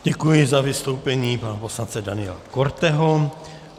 Děkuji za vystoupení pana poslance Daniela Korteho.